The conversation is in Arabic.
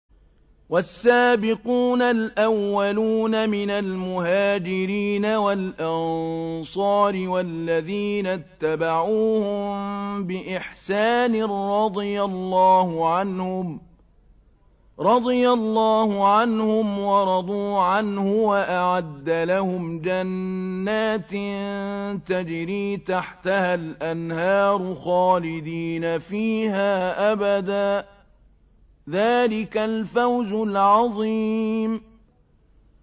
وَالسَّابِقُونَ الْأَوَّلُونَ مِنَ الْمُهَاجِرِينَ وَالْأَنصَارِ وَالَّذِينَ اتَّبَعُوهُم بِإِحْسَانٍ رَّضِيَ اللَّهُ عَنْهُمْ وَرَضُوا عَنْهُ وَأَعَدَّ لَهُمْ جَنَّاتٍ تَجْرِي تَحْتَهَا الْأَنْهَارُ خَالِدِينَ فِيهَا أَبَدًا ۚ ذَٰلِكَ الْفَوْزُ الْعَظِيمُ